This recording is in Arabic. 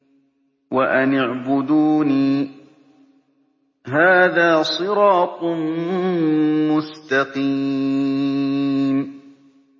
وَأَنِ اعْبُدُونِي ۚ هَٰذَا صِرَاطٌ مُّسْتَقِيمٌ